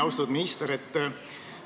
Austatud minister!